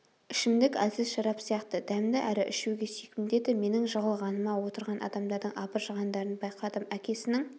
ішімдік әлсіз шарап сияқты дәмді әрі ішуге сүйкімді еді менің жығылғаныма отырған адамдардың абыржығандарын байқадым әкесінің